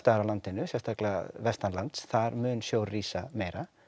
staðar á landinu sérstaklega vestanlands þar mun sjór rísa meira